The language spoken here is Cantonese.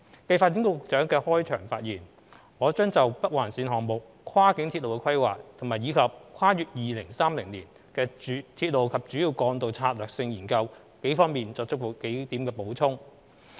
繼發展局局長的開場發言，我將就北環綫項目、跨境鐵路規劃及《跨越2030年的鐵路及主要幹道策略性研究》方面作幾點補充。